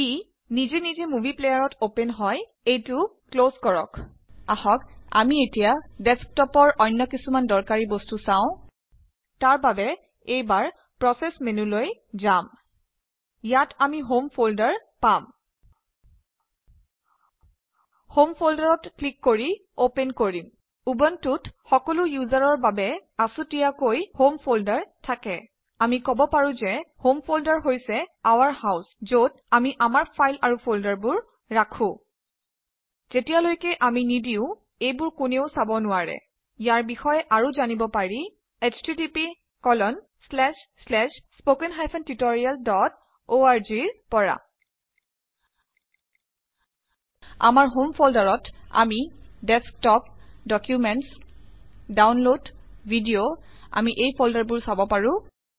E by default মোডী প্লেয়াৰত open হয়। এইটো ক্লজ কৰক। আহক আমি এতিয়া ডেস্কটপৰ অন্য কিছুমান দৰকাৰী বস্তু চাও। তাৰ বাবে এইবাৰ প্ৰসেস মেন্যুলৈ ঘাম। ইয়াম আমি হুম ফন্দাৰ পাম। ক্লিক কৰি হুম ফল্দাৰ অপেন কৰিম। উবুন্টুত সকলো ইউজাৰৰ বাবে আচুতিয়াকৈ হুম ফল্দাৰ থাকে। আমি কব পাৰো ঘে হম ফল্দাৰ হৈছে ঔৰ হাউছ ঘত আমি আমাৰ ফাইল আৰু ফল্দাৰবোৰ ৰাখো। ঘেতিয়ালৈকে আমি নিদিও এইবোৰ কোনও চাব নোৱাৰে। ইয়াৰ বিষয়ে আৰু জানিব পাৰি httpspoken tutorialorg ৰ পৰা। আমাৰ হম ফল্ডাৰত আমি ডেস্কটপ ডক্যুমেন্টচ ডাউনলদ ডিডিঅ আমি ফল্দাৰবোৰ চাব পাৰো